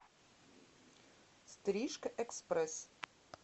стрижка экспресс